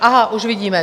Aha, už vidíme.